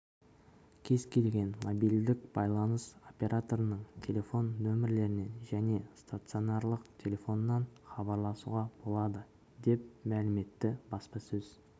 кез-келген мобильдік байланыс операторының телефон нөмірлерінен және стационарлық телефоннан хабарласуға болады деп мәлім етті баспасөз